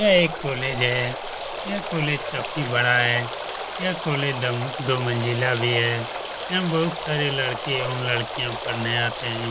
यह एक कॉलेज है यह कॉलेज काफ़ी बड़ा है यह कॉलेज दो मंजिला भी है यहाँ बहुत सारे लड़के एवं लड़किया पड़ने आते है।